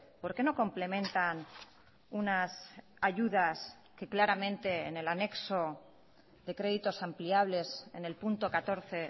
por qué no complementan unas ayudas que claramente en el anexo de créditos ampliables en el punto catorce